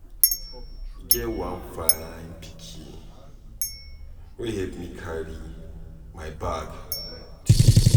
E get one fine pikin wey help me carry my bag today.